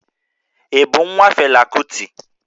Ị bụ nwa Fela Kuti?